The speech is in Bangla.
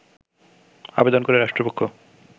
আবেদন করে রাষ্ট্রপক্ষ